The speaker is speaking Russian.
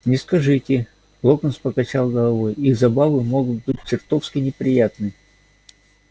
не скажите локонс покачал головой их забавы могут быть чертовски неприятны